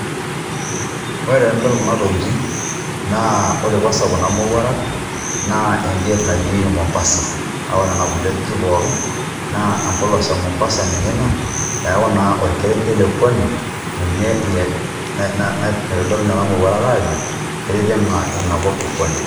Ore tenidol Kuna tokitin naa ore kwansa Kuna mowuarak naa egeti najingieki Mombasa naa ore Nena kulie ajijik pookin naa embolos e Mombasa ninye Ina neeku naa orkerenket le pwani ninye ilo aa Eitodolu Nena mowuarak aajo itijing'a Ina kop epuani.